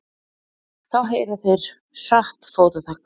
Þá heyra þeir hratt fótatak.